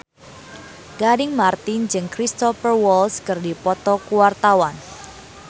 Gading Marten jeung Cristhoper Waltz keur dipoto ku wartawan